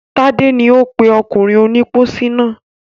Tádé ni ó pè ọkùnrin onípósí náà.